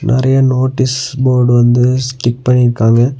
நெறைய notice board வந்து stick பண்ணிருக்காங்க.